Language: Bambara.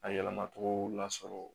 A yɛlɛmacogo lasɔrɔ